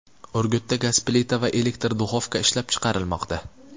Urgutda gaz plita va elektr duxovka ishlab chiqarilmoqda.